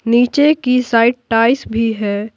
नीचे की side tiles भी है।